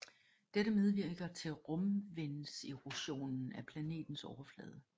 Dette medvirker til rumvindserosionen af planetens overflade